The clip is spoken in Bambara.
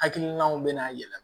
Hakilinaw bɛna yɛlɛma